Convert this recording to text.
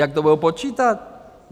Jak to budou počítat?